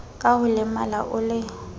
ka ho lemala o le